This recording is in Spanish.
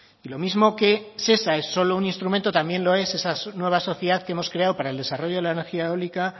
y lo mismo que shesa es solo un instrumento también lo es esa nueva sociedad que hemos creado para el desarrollo de la energía eólica